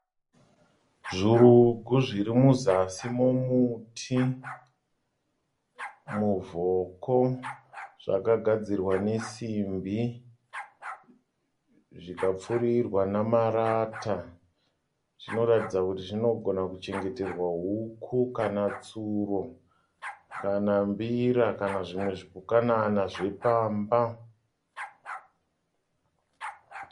Zvurugu zvirimuzasi momuti, muvhoko. Zvakagadzirwa nesimbi, zvikapfurirwa namarata. Zvinoratidza kuti zvinogona kuchengeterwa huku kana tsuro kana mbira kana zvimwe zvipukanana zvepamba.